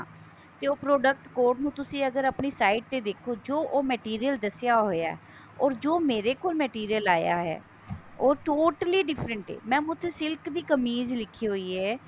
ਉਹ product code ਨੂੰ ਤੁਸੀਂ ਅਗਰ ਆਪਣੀ sight ਤੇ ਦੇਖੋ ਜੋ ਉਹ material ਦੱਸਿਆ ਹੋਇਆ ਹੈ or ਜੋ ਮੇਰੇ ਕੋਲ material ਆਇਆ ਹੈ ਉਹ totally different ਹੈ mam ਉੱਥੇ silk ਦੀ ਕਮੀਜ ਲਿਖੀ ਹੋਈ ਹੈ